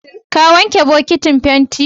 Ka wanke bokatan fenti?